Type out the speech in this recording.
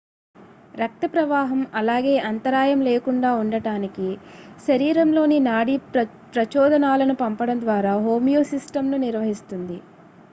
రక్త ప్రవాహం అలాగే అంతరాయం లేకుండా ఉండటానికి శరీరంలోని నాడీ ప్రచోదనాలను పంపడం ద్వారా హోమియోస్సిస్టమ్ నిర్వహిస్తుంది